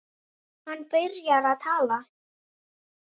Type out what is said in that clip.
Hann byrjar að tala.